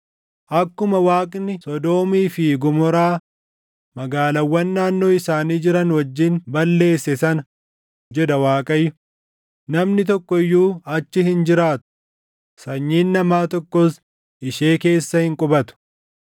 Akkuma Waaqni Sodoomii fi Gomoraa, magaalaawwan naannoo isaanii jiran wajjin balleesse sana” jedha Waaqayyo; “namni tokko iyyuu achi hin jiraatu; sanyiin namaa tokkos ishee keessa hin qubatu.